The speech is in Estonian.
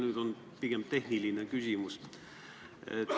Nüüd on pigem tehniline küsimus.